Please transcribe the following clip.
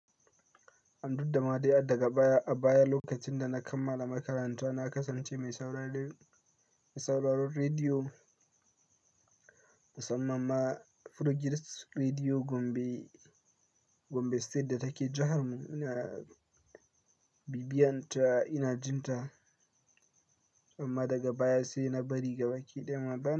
Ai duk dama dai adaga baya a baya lokacin da na kammala makaranta na kasance mai sauraron rediyo musamman ma Furugirs Rediyo Gombe, Gombe State da take jihar mu. Ina bibiyanta, ina jinta amma daga baya sai na bari gaba kiɗin ma ba.